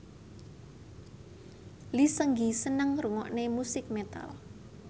Lee Seung Gi seneng ngrungokne musik metal